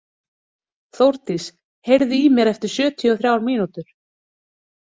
Þórdís, heyrðu í mér eftir sjötíu og þrjár mínútur.